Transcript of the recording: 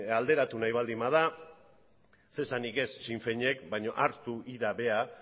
alderatu nahi baldin bada zer esanik ez sinn féinek baino hartu ira bera